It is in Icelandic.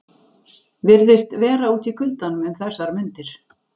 Virðist vera úti í kuldanum um þessar mundir.